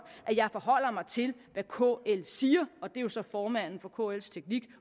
at jeg forholder mig til hvad kl siger og det er jo så formanden for kls teknik